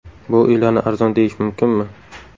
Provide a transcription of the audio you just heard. Bu uylarni arzon deyish mumkinmi?